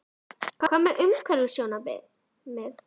Björn: Hvað með umhverfissjónarmið?